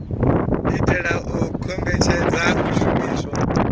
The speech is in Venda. itela u kombetshedza u shumiswa